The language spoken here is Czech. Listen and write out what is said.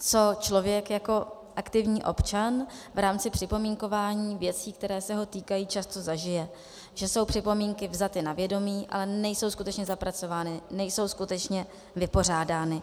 co člověk jako aktivní občan v rámci připomínkování věcí, které se ho týkají, často zažije, že jsou připomínky vzaty na vědomí, ale nejsou skutečně zapracovány, nejsou skutečně vypořádány.